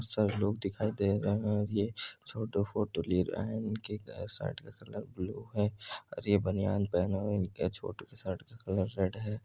सब लोग दिखाई दे रहे हैं और ये छोटू फोटो ले रहा है इनकी शर्ट का कलर ब्लू है और ये बनियान पहना हुआ है छोटू इनकी छोटू कि शर्ट का कलर रेड है |